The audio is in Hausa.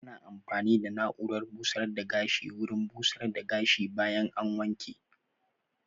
Ana amfani da na'urar busar da gashi wurin busar da gashi bayan an wanke